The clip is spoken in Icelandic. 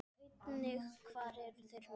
Sjá einnig: Hvar eru þeir núna?